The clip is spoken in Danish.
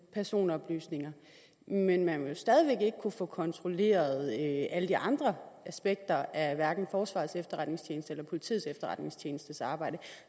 personoplysninger men man vil jo stadig væk ikke kunne få kontrolleret alle de andre aspekter af hverken forsvarets efterretningstjenestes eller politiets efterretningstjenestes arbejde